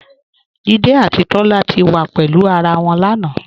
Jídé àti Tólá ti wá pẹ̀lú ará wọn lánà.